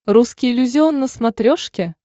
русский иллюзион на смотрешке